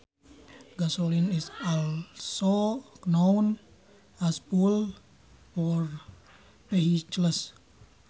Gasoline is also known as fuel for vehicles